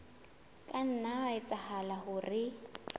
ka nna ha etsahala hore